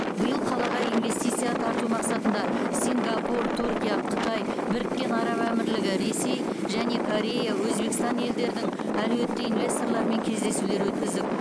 биыл қалаға инвестиция тарту мақсатында сингапур түркия қытай біріккен араб әмірлігі ресей және корея өзбекстан елдердің әлеуетті инвесторларымен кездесулер өткіздік